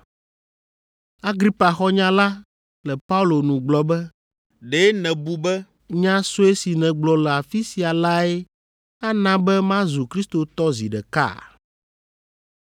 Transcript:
Agripa xɔ nya la le Paulo nu gblɔ be, “Ɖe nèbu be nya sue si nègblɔ le afi sia lae ana be mazu kristotɔ zi ɖeka?”